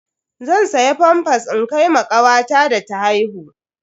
Zan siya famfas in kai ma kawata da ta haihu.